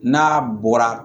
N'a bɔra